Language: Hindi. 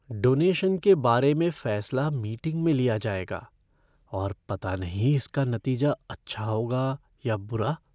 डोनेशन के बारे में फैसला मीटिंग में लिया जाएगा और पता नहीं इसका नतीजा अच्छा होगा या बुरा।